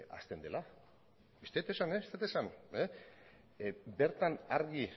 hasten dela ez dut esan ez dut esan bertan argi